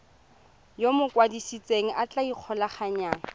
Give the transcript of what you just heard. yo mokwadise a tla ikgolaganyang